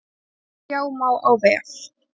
Sjá má á vef